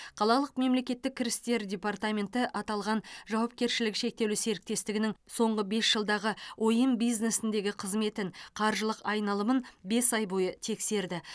қалалық мемлекеттік кірістер департаменті аталған жауапкершілігі шектеулі серіктестігінің соңғы бес жылдағы ойын бизнесіндегі қызметін қаржылық айналымын бес ай бойы тексерді